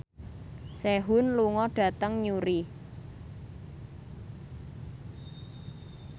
Sehun lunga dhateng Newry